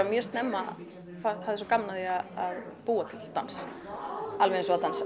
mjög snemma hafði svo gaman af því að búa til dans alveg eins og að dansa